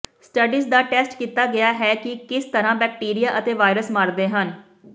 studies ਦਾ test ਕੀਤਾ ਗਿਆ ਹੈ ਕਿ ਕਿਸ ਤਰ੍ਹਾਂ ਬੈਕਟੀਰੀਆ ਅਤੇ ਵਾਇਰਸ ਮਾਰਦੇ ਹਨ